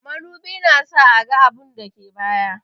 Madubi na sa a gan abun dake baya.